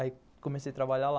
Aí, comecei a trabalhar lá.